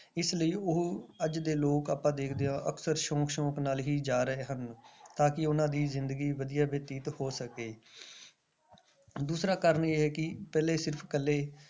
ਇਸ ਲਈ ਉਹ ਅੱਜ ਦੇ ਲੋਕ ਆਪਾਂ ਦੇਖਦੇ ਹਾਂ ਅਕਸਰ ਸ਼ੌਂਕ ਸ਼ੌਂਕ ਨਾਲ ਹੀ ਜਾ ਰਹੇ ਹਨ ਤਾਂ ਕਿ ਉਹਨਾਂ ਦੀ ਜ਼ਿੰਦਗੀ ਵਧੀਆ ਬਤੀਤ ਹੋ ਸਕੇ ਦੂਸਰਾ ਕਾਰਨ ਇਹ ਹੈ ਕਿ ਪਹਿਲੇ ਸਿਰਫ਼ ਇਕੱਲੇ